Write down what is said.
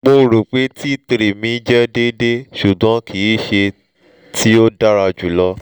mo ro pe t three mi jẹ deede ṣugbọn kii ṣe ti o dara julọ